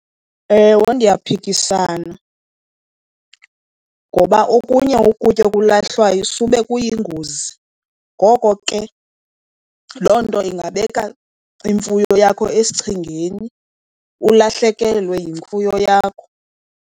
Ewe ndiyaphikisana, ngoba okunye ukutya okulahlwayo sube kuyingozi. Ngoko ke loo nto ingabeka imfuyo yakho esichengeni, ulahlekelwe yimfuyo yakho.